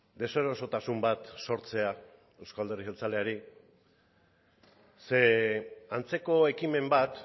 deserosotasun bat sortzea euzko alderdi jeltzaleari ze antzeko ekimen bat